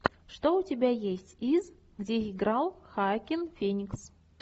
что у тебя есть из где играл хоакин феникс